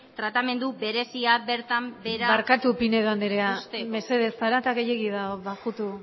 tratamendu berezia bertan behera barkatu pinedo andrea mesedez zarata gehiegi dago bajutu